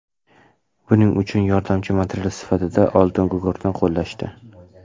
Buning uchun yordamchi material sifatida oltingugurtni qo‘llashdi.